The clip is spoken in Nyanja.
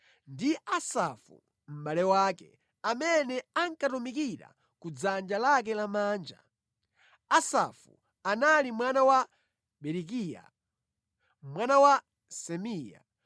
ndi Asafu mʼbale wake, amene ankatumikira ku dzanja lake lamanja: Asafu anali mwana wa Berekiya, mwana wa Simea,